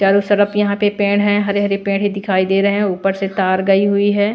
चारों सड़प यहां पे पेड़ है हरे-हरे पेड़ ही दिखाई दे रहे हैं ऊपर से तार गई हुई है।